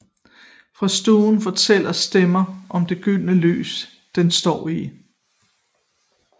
Fra stuen fortæller stemmen om det gyldne lys den står i